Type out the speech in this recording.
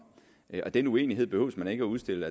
og den uenighed behøver man ikke at udstille